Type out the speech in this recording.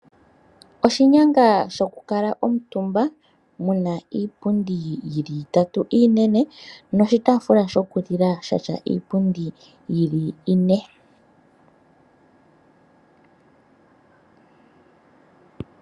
Oshinyanga sho kukuutumba moka muna iipundi itatu inene noshi tafula shokulila shina iipundi yili ine.